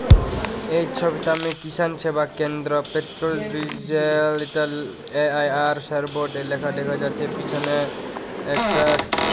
এই ছবিটা আমি কিষান সেবা কেন্দ্র পেট্রোল ডিজেল টেল এ_আই_আর স্যার বোর্ডে লেখা দেখা যাচ্ছে পিছনে একটা--